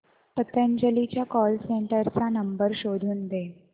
पतंजली च्या call centre चा number शोधून दे